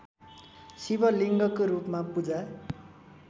शिवलिङ्गको रूपमा पूजा